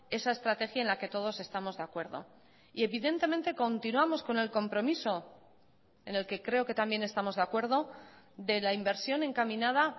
esa estrategia en la que todos estamos de acuerdo y evidentemente continuamos con el compromiso en el que creo que también estamos de acuerdo de la inversión encaminada